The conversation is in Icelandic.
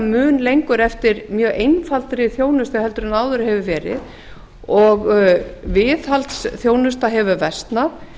mun lengur eftir mjög einfaldri þjónustu heldur en áður hefur verið og viðhaldsþjónusta hefur versnað